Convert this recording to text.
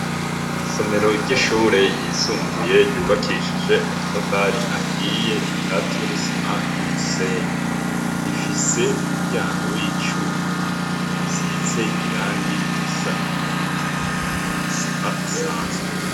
Isomero ry'ishure yisumbuye, ryubakishije amatafari ahiye akatiye n'isima n'umusenyi, ifise umuryango w'icuma usize irangi risa n'ivu, isima isanzwe.